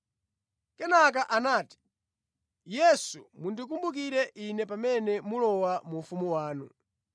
Kenaka anati, “Yesu, mundikumbukire ine pamene mulowa mu ufumu wanu.”